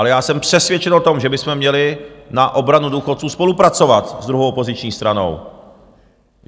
Ale já jsem přesvědčen o tom, že bychom měli na obranu důchodců spolupracovat s druhou opoziční stranou.